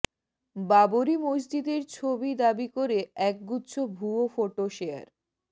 বাবরি মসজিদের ছবি দাবি করে একগুচ্ছ ভুয়ো ফোটো শেয়ার